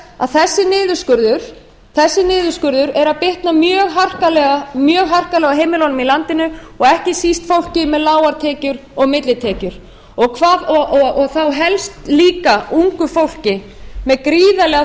að þessi niðurskurður er að bitna mjög harkalega á heimilunum í landinu og ekki síst fólki með lágar tekjur og millitekjur og þá helst líka ungu fólki sem gríðarlega